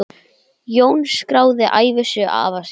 Jón skráði ævisögu afa síns.